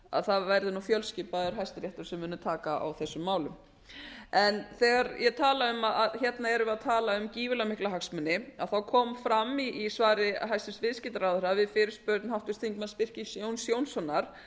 að það verði fjölskipaður hæstiréttur sem mun taka á þessum málum hérna erum við að tala um gífurlega mikla hagsmuni þá kom fram í svari hæstvirts við fyrirspurn háttvirts þingmanns birkis jónssonar